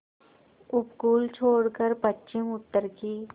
उपकूल छोड़कर पश्चिमउत्तर की